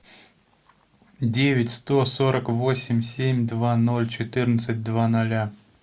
девять сто сорок восемь семь два ноль четырнадцать два ноля